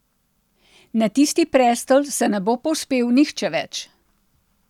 Na tisti prestol se ne bo povzpel nihče več.